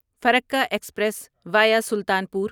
Farakka express via Sultanpur